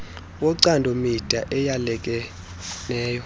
wocando mida eyalekeneyo